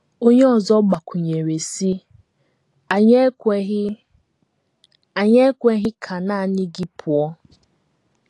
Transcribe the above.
Onye ọzọ gbakwụnyere, sị: “ Anyị ekweghị Anyị ekweghị ka nanị gị pụọ.